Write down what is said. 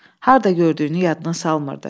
Harda gördüyünü yadına salmırdı.